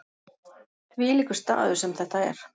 Þvílíkur staður sem þetta er.